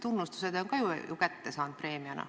Tunnustuse on ta ju kätte saanud ka preemiana.